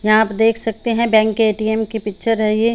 यहाँ पर देख सकते है बैंक के एटीएम की पिक्चर है ये--